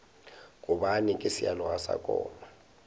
gobane ke sealoga sa koma